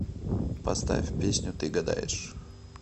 поставь песню ты гадаешь